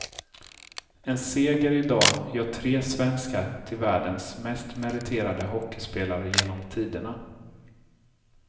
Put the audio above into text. En seger i dag gör tre svenskar till världens mest meriterade hockeyspelare genom tiderna.